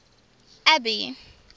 abby